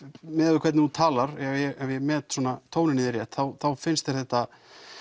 miðað við hvernig þú talar ef ég met svona tóninn í þér rétt þá finnst þér þetta